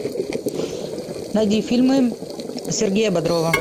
найди фильмы сергея бодрова